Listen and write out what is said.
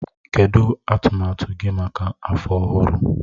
Kedụ atụmatụ gị maka afọ ọhụrụ?